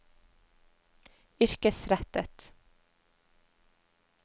yrkesrettet